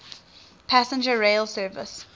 passenger rail service